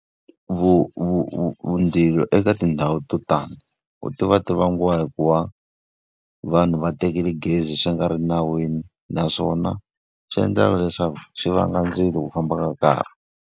Mindzilo eka tindhawu to tani, u ti va ti vangiwa hikuva vanhu va tekile gezi swi nga ri nawini. Naswona swi endlaka leswaku swi vanga ndzilo ku famba ka nkarhi.